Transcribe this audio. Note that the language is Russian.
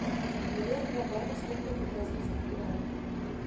миллион два батов сколько это в бразильских реалах